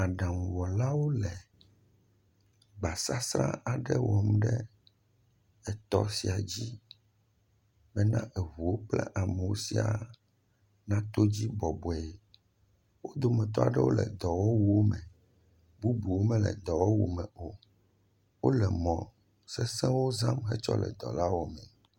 Aɖaŋuwɔlawo le gbasasra aɖe wɔm ɖe etɔ sia dzi bena eŋuwo kple amewo sia nato edzi bɔbɔe. Wo dometɔ aɖewo le dɔwɔwo me. Bubu mele dɔwɔwu me o. Wo le mɔ sesewo zam hetsɔ le dɔ la wɔ mee.